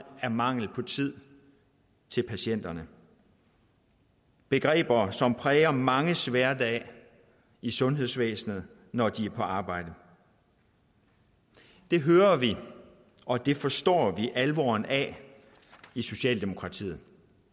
af mangel på tid til patienterne begreber som præger manges hverdag i sundhedsvæsenet når de er på arbejde det hører vi og det forstår vi alvoren af i socialdemokratiet